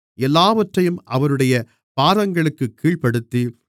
எல்லாவற்றையும் அவருடைய பாதங்களுக்குக் கீழ்ப்படுத்தி